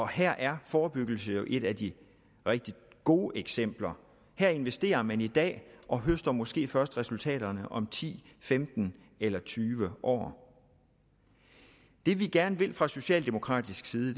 her er forebyggelse jo et af de rigtig gode eksempler her investerer man i dag og høster måske først resultaterne om ti femten eller tyve år det vi gerne vil fra socialdemokratisk side